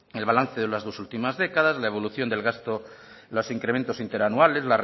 el balance de las dos últimas décadas la evolución del gasto los incrementos interanuales